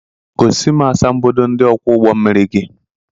Gosi m asambodo ndị ọkwọ ụgbọ mmiri gị